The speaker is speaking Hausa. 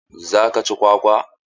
Zaka ci kwakwa?